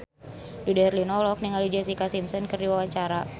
Dude Herlino olohok ningali Jessica Simpson keur diwawancara